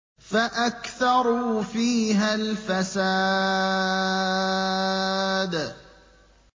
فَأَكْثَرُوا فِيهَا الْفَسَادَ